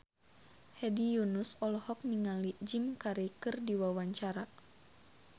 Hedi Yunus olohok ningali Jim Carey keur diwawancara